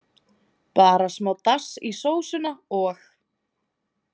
Bara smá dass í sósuna og.